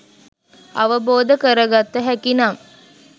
අවබෝධ කරගත හැකි නම්